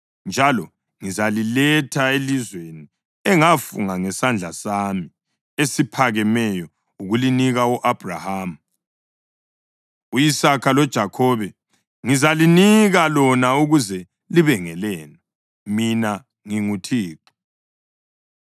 Njalo ngizaliletha elizweni engafunga ngesandla sami esiphakemeyo ukulinika u-Abhrahama, u-Isaka loJakhobe. Ngizalinika lona ukuze libe ngelenu. Mina nginguThixo.”